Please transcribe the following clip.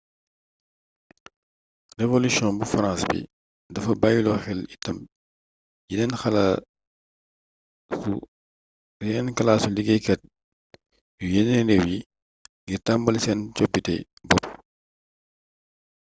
revolution bu farans bi dafa bayyilo xel itam yeneen kalaasu liggéeykat yu yeneen réew yi ngir tambali seen coppitey bopp